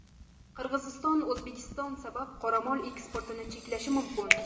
Qirg‘iziston O‘zbekiston sabab qoramol eksportini cheklashi mumkin.